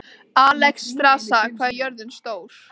Alexstrasa, hvað er jörðin stór?